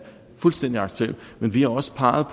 fuldstændig accepteret men vi har også peget